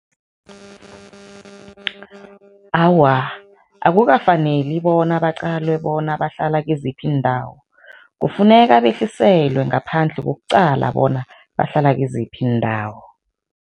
Awa, akukafaneli bona baqalwe bona bahlala kiziphi iindawo. Kufuneka behliselwe ngaphandle kokuqala bona bahlala kiziphi iindawo.